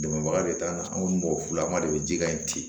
Dɛmɛbaga de t'an na an kɔni b'o f'u ye an b'a de bɛ jika in ten